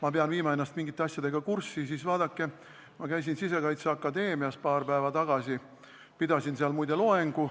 ma pean viima ennast mingite asjadega kurssi, siis vaadake, ma käisin paar päeva tagasi Sisekaitseakadeemias ja pidasin seal muide loengu.